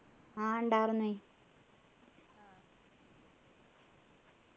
ആഹ് ഉണ്ടാർന്നു